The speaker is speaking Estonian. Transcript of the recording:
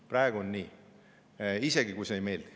Praegu on nii, isegi kui see ei meeldi.